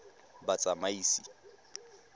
batsamaisi